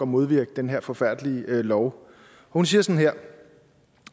modvirke den her forfærdelige lov hun siger sådan her